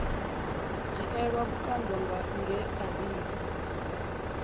dzhielwa vhukando nge a vhiga